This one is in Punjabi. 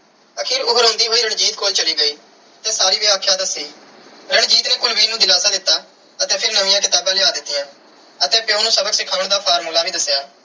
ਆਖਿਰ ਉਹ ਰੋਂਦੀ ਹੋਈ ਰਣਜੀਤ ਕੋਲ ਚਲੀ ਗਈ ਤੇ ਸਾਰੀ ਵਿਆਖਿਆ ਦੱਸੀ। ਰਣਜੀਤ ਨੇ ਕੁਲਵੀਰ ਨੂੰ ਦਿਲਾਸਾ ਦਿੱਤਾ ਅਤੇ ਫਿਰ ਨਵੀਆਂ ਕਿਤਾਬਾਂ ਲਿਆ ਦਿੱਤੀਆਂਂ ਅਤੇ ਪਿਉ ਨੂੰ ਸਬਕ ਸਿਖਾਉਣ ਦਾ formula ਵੀ ਦੱਸਿਆ।